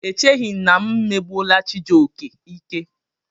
Echeghị m na megbuola Chijioke ike.